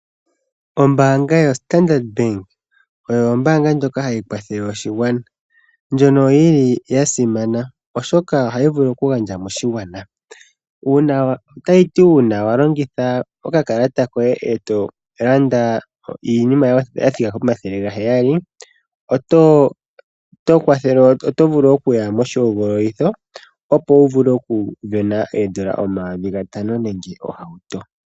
Ombaanga yo Standard oyo ombaanga ndjoka hayi kwathele oshigwana ndjono yili yasimana oshoka ohayi vulu okugandja moshigwana ,Otayiti uuna walongitha okakalata koye eto landa iinima yathika komathele gaheyali otovulu okuta moshihogololitho opo wuvule oku sindana oondola omayovi gatano nenge ohauto